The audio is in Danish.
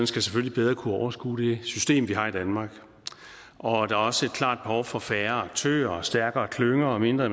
skal selvfølgelig bedre kunne overskue det system vi har i danmark og der er også et klart behov for færre aktører og stærkere klynger og mindre